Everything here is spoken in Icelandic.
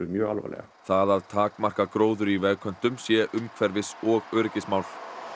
mjög alvarlega það að takmarka gróður í vegköntum sé umhverfis og öryggismál